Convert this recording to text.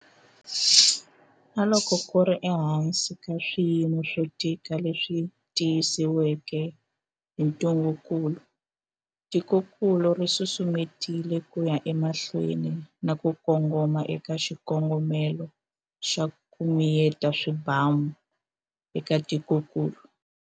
Na loko ku ri ehansi ka swiyimo swo tika leswi tisiweke hi ntungukulu, tikokulu ri susumetile ku ya emahlweni na ku kongoma eka xikongomelo xa 'ku miyeta swibamu' eka tikokulu.